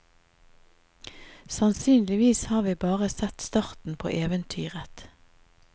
Sannsynligvis har vi bare sett starten på eventyret.